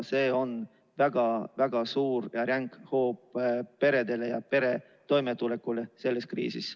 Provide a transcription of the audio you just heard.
See on väga-väga suur ja ränk hoop peredele ja perede toimetulekule selles kriisis.